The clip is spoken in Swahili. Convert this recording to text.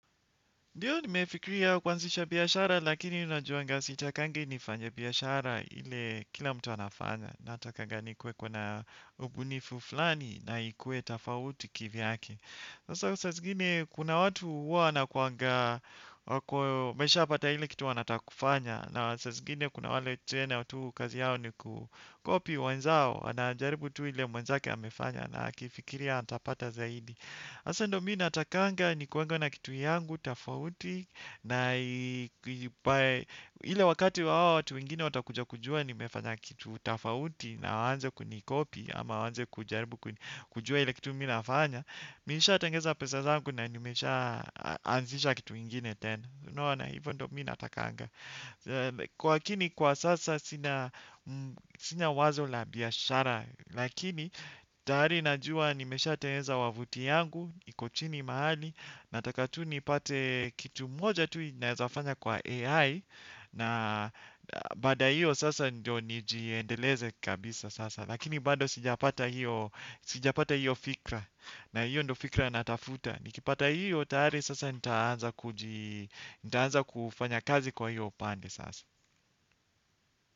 Ndiyo nimefikiria kuanzisha biashara lakini najuanga sitakangi nifanye biashara ile kila mtu anafanya. Natakanga ni kue kuna ubunifu fulani na ikue tafauti kivyake. Sasa hiyo saa zigine kuna watu huwa wanakuangaa wameshapata ile kitu wanataka kufanya. Na saa zingine kuna wale tena tu kazi yao ni kukopi wenzao ana jaribu tu ile mwenzake amefanya na akifikiria atapata zaidi. Hasa ndio mimi natakanga ni kuange na kitu yangu tofauti na ile wakati wao watu wingine watakuja kujua nimefanya kitu tafauti na waanze kunikopi ama waanze kujaribu kujua ile kitu mmii nafanya. Nishaa tengeneza pesa zangu na nimesha anzisha kitu ingine tena unaona hivyo ndio mimi natakanga kwa kini kwa sasa sina wazo la biashara lakini tayari najua nimesha tengeneza wavuti yangu iko chini mahali nataka tu nipate kitu moja tu naezafanya kwa AI na baada ya hiyo sasa ndio nijiendeleze kabisa sasa. Lakini bado sijapata hiyo fikra. Na hiyo ndio fikra natafuta. Nikipata hiyo tayari sasa nitaanza kufanya kazi kwa hiyo upande sasa.